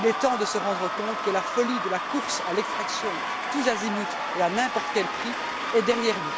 Il est temps de nous rendre compte que la folie de la course à l'extraction tous azimuts et à n'importe quel prix est derrière nous.